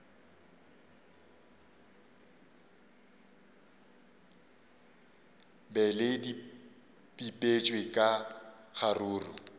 be le bipetšwe ka kgaruru